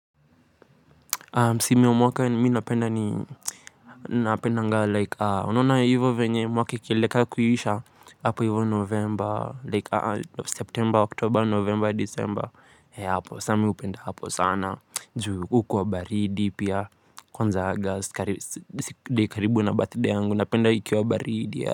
Si miwa mwaka minapenda ni napendanga like. Unaona hivyo venye mwaka ikielekea kuisha. Apo hivyo novemba Like september, october, novemba, december He hapo, sami upenda hapo sana. Juu ukuwa baridi pia. Kwanza August karibu na birthday yangu. Napenda ikiwa baridi ya.